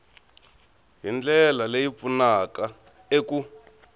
hi ndlela leyi pfunaka eku